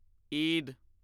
Eid